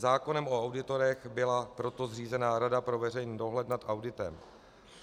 Zákonem o auditorech byla proto zřízena Rada pro veřejný dohled nad auditem.